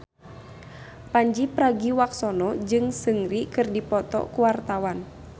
Pandji Pragiwaksono jeung Seungri keur dipoto ku wartawan